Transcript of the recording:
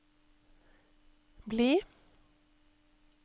bli